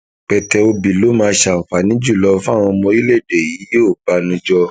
pété obi ló máa ṣàǹfààní jù lọ fáwọn ọmọ orílẹèdè yìíọbànújò